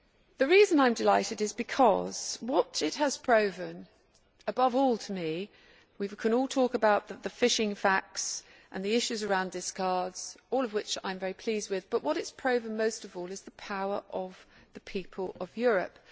The reason I am delighted is because what it has proven above all to me we can all talk about the fishing facts and the issues around discards, all of which I am very pleased with but what it has proven most of all is the power of the people of Europe.